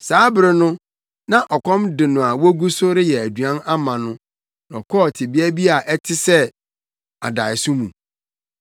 Saa bere no, na ɔkɔm de no a wogu so reyɛ aduan ama no na ɔkɔɔ tebea bi a ɛte sɛ adaeso mu.